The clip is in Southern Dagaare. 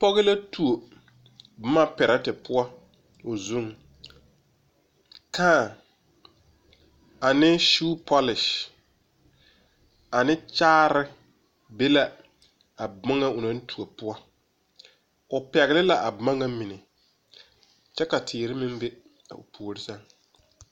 Pɔge la tuo boma pɛrɛte poɔ o zuŋ. Kãã ane suu-pɔlese ane kyaare be la a bomɔ o naŋ tuo poɔ. O pɛgele la a boma ŋa mine kyɛ ka teere meŋ be a o puor sɛŋ.